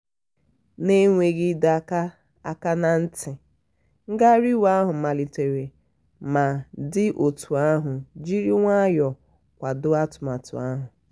na-enweghị ịdọ aka aka ná ntị ngagharị iwe ahụ malitere ma ndị otu ahụ jiri nwayọ kwado atụmatụ ahụ.